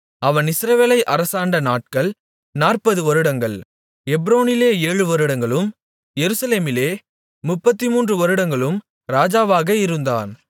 அவன் இஸ்ரவேலை அரசாண்ட நாட்கள் நாற்பது வருடங்கள் எப்ரோனிலே ஏழு வருடங்களும் எருசலேமிலே முப்பத்துமூன்று வருடங்களும் ராஜாவாக இருந்தான்